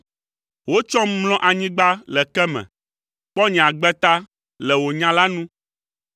Wotsɔm mlɔ anyigba le ke me, kpɔ nye agbe ta le wò nya la nu.